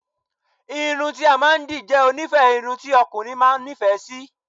Irun ti a maa n di je onife orun ti okunrin maa n ni ife si